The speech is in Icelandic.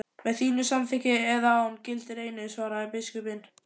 Með þínu samþykki eða án, gildir einu, svaraði biskup.